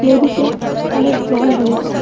নদীতে অনেক জল রয়েছে।